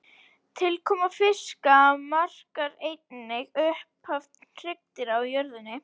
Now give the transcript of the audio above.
Tilkoma fiska markar einnig upphaf hryggdýra á jörðinni.